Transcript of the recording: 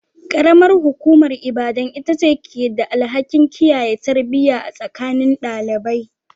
Karamar hukumar Ibadan ita ce ke da alhakin kiyaye tarbiyya a tsakanin ɗalibai.